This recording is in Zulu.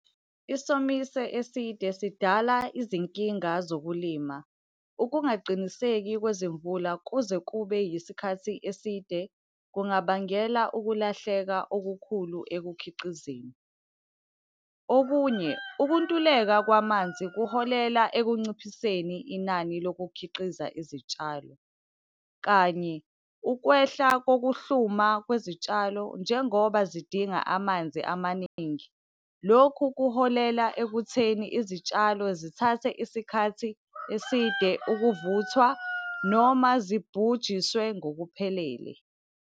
Isomiso eside sidala izinkinga zokulima. Ukungaqiniseki kwezimvula kuze kube yisikhathi eside kungabangela ukulahleka okukhulu ekukhiqizeni. Okunye, ukuntuleka kwamanzi kuholela ekunciphiseni inani lokukhiqiza izitshalo. Kanye, ukwehla kokuhluma kwezitshalo njengoba zidinga amanzi amaningi. Lokhu kuholela ekutheni izitshalo zithathe isikhathi eside ukuvuthwa, noma zibhujiswe ngokuphelele.